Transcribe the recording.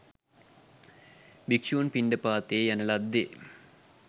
භික්‍ෂූන් පිණ්ඩපාතයේ යන ලද්දේ